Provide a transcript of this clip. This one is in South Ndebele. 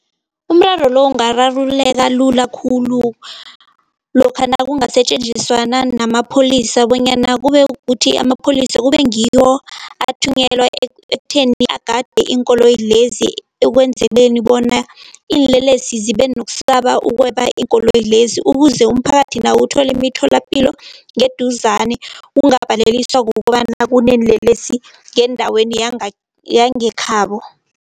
Umraro lo ungararululeka lula khulu lokha nakungasetjenziswana namapholisa bonyana kube kuthi, amapholisa kube ngiwo athunyelwa ekutheni agade iinkoloyi lezi ekwenzeleni bona iinlelesi zibe nokusaba ukweba iinkoloyi lezi. Ukuze umphakathi nawo uthole imitholapilo ngeduzane ungabalekiswa kukobana kuneenlelesi ngendaweni yangekhabo.